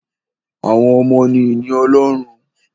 Àwọn ọmọ ni ìní Ọlọ́run